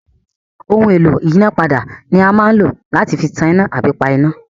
Ohun-èlò ìyínápadà ni a máa ń lò láti fi tan iná tàbí pa iná.